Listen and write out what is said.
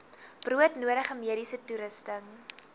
broodnodige mediese toerusting